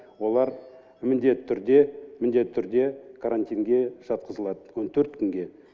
олар міндетті түрде міндетті түрде карантинге жатқызылады он төрт күнге